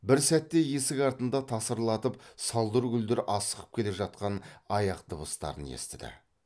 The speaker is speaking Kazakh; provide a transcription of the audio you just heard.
бір сәтте есік артында тасырлатып салдыр гүлдір асығып келе жатқан аяқ дыбыстарын естіді